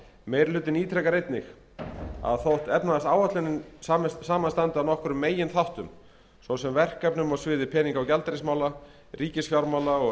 meiri hlutinn ítrekar einnig að þótt efnahagsáætlunin samanstandi af nokkrum meginþáttum svo sem verkefnum á sviði peninga og gjaldeyrismála ríkisfjármála og